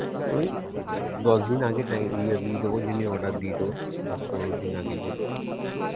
ওই দ~দশ দিন আগে টাই~ ইয়ে দিয়ে দেব order দিয়ে দেব দশ পনের দিন আগে